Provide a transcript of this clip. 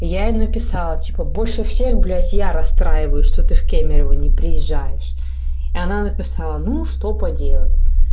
я ей написала типа больше всех блядь я расстраиваюсь что ты в кемерово не приезжаешь и она написала ну что поделать